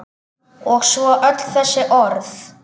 Og svo öll þessi orð.